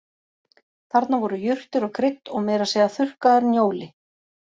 Þarna voru jurtir og krydd og meira að segja þurrkaður njóli